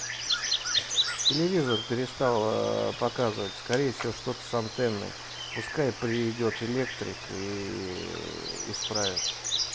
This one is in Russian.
телевизор перестал показывать скорее всего что то с антенной пускай придет электрик и исправит